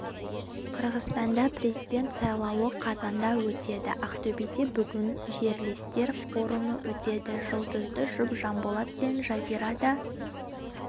қырғызстанда президент сайлауы қазанда өтеді ақтөбеде бүгін жерлестер форумы өтеді жұлдызды жұп жанболат пен жазира да